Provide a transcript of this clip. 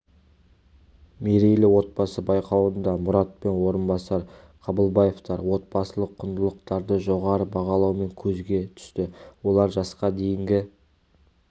мерейлі отбасы байқауында мұрат пен орынбасар қабылбаевтар отбасылық құндылықтарды жоғары бағалауымен көзге түсті олар жасқа дейінгі